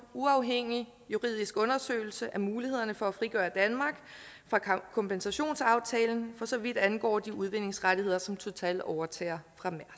uafhængig juridisk undersøgelse af mulighederne for at frigøre danmark fra kompensationsaftalen for så vidt angår de udvindingsrettigheder som total overtager